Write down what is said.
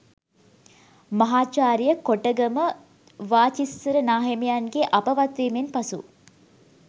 මහාචාර්ය කොටගම වාචිස්සර නාහිමියන්ගේ අපවත් වීමෙන් පසු